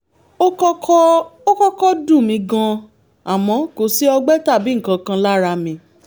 ó kọ́kọ́ ó kọ́kọ́ dùn mí gan-an àmọ́ kò sí ọgbẹ́ tàbí nǹkan kan lára mi